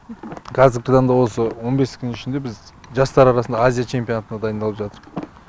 қазіргі таңда осы он бес күннің ішінде біз жастар арасындағы азия чемпионатына дайындалып жатырқ